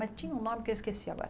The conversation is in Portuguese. Mas tinha um nome que eu esqueci agora.